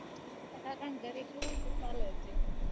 ઘર એકલું હોય ને તો ચાલે હજી